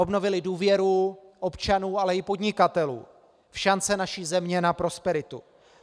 Obnovili důvěru občanů, ale i podnikatelů v šance naší země na prosperitu.